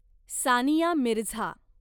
Sania Mirza